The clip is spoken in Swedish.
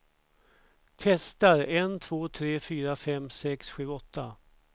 Testar en två tre fyra fem sex sju åtta.